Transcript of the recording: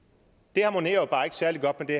det harmonerer jo bare ikke særlig godt med det